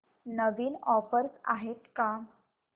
नवीन offers आहेत का